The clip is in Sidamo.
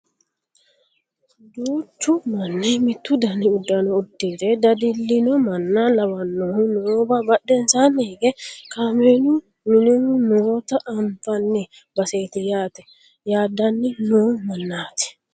duuchu manni ,mittu dani uduunne uddire dadillino manna lawannohu noowa badhensaanni hige kameelu minihu noota anfanni baseeti yaate yaadanni noo mannaati